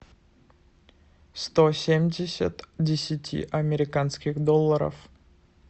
сто семьдесят десяти американских долларов